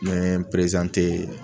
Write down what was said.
N ye n perezante